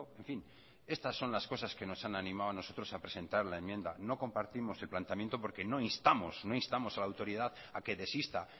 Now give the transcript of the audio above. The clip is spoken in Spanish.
en fin estas son las cosas que nos han animado a nosotros a presentar la enmienda no compartimos el planteamiento porque no instamos no instamos a la autoridad a que desista